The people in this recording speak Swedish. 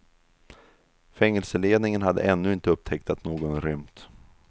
Fängelseledningen hade ännu inte upptäckt att någon rymt.